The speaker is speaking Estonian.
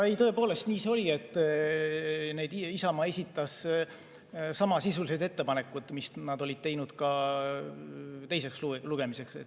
Tõepoolest, nii see oli, et Isamaa esitas samasisulised ettepanekud, mis nad olid teinud teiseks lugemiseks.